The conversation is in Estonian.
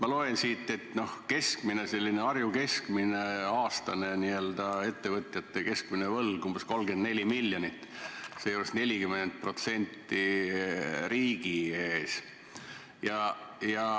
Ma loen siit, et aastane selline n-ö Harju keskmine ettevõtjate võlg on umbes 34 miljonit, seejuures 40% riigi ees.